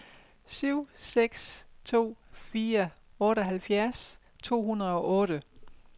syv seks to fire otteoghalvfjerds to hundrede og otte